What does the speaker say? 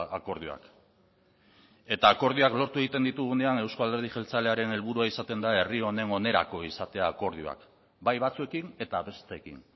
akordioak eta akordioak lortu egiten ditugunean euzko alderdi jeltzalearen helburua izaten da herri honen onerako izatea akordioak bai batzuekin eta besteekin